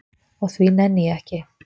Og því nenni ég ekki.